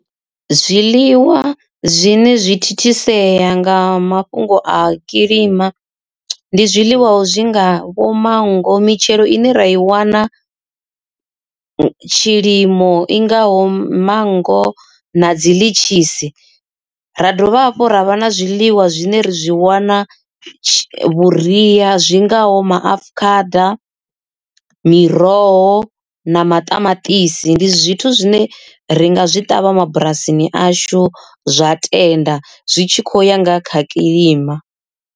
Zwiḽiwa zwine zwi thithisea nga mafhungo a kilima ndi zwiḽiwa zwi ngavho manngo, mitshelo ine ra i wana tshilimo i ngaho manngo na dzi litshisi. Ra dovha hafhu ravha na zwiḽiwa zwine ra zwi wana vhuria zwingaho maafukhada, miroho na maṱamaṱisi, ndi zwithu zwine ringa zwi ṱavha mabulasini ashu zwa tenda zwi tshi kho ya nga kha kiḽima.